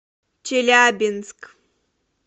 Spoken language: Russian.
челябинск